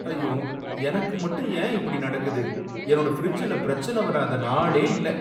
ஐயோ! எனக்கு மட்டும் ஏன் இப்படி நடக்குது? என்னோட ஃபிரிட்ஜ்ல பிரச்சனை வராத நாளே இல்ல